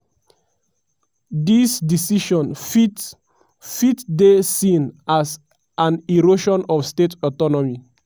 "dis decision fit fit dey seen as an erosion of state autonomy.